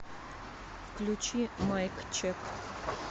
включи майк чек